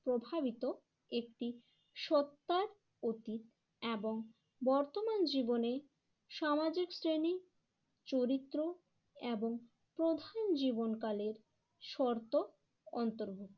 প্রভাবিত একটি সত্তার প্রতিক এবং বর্তমান জীবনে সামাজিক শ্রেণী চরিত্র এবং প্রধান জীবনকালের শর্ত অন্তর্ভু